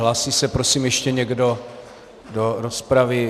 Hlásí se, prosím, ještě někdo do rozpravy?